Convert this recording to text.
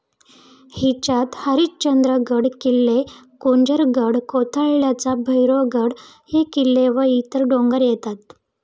हिच्यात हरिश्चंद्रगड, किल्ले कुंजरगड, कोथळल्याचा भैरवगड हे किल्ले व इतर डोंगर येतात.